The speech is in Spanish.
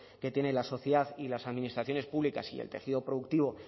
que tiene la sociedad y las administraciones públicas y del tejido productivo